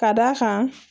Ka d'a kan